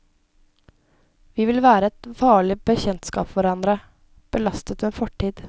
Vi vil være et farlig bekjentskap for hverandre, belastet med fortid.